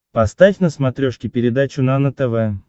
поставь на смотрешке передачу нано тв